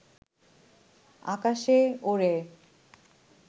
আকাশে ওড়ে